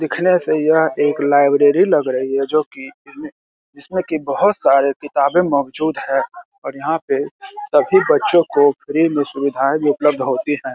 दिखने से यह एक लाइब्रेरी लग रही है जो कि जिमे जिसमें कि बहुत सारे किताबें मौजूद है और यहां पे सभी बच्चों को फ्री में सुविधाएं भी उपलब्ध होती है ।